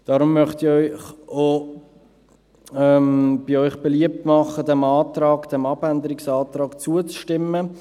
Deshalb möchte ich bei Ihnen beliebt machen, dem Abänderungsantrag zuzustimmen.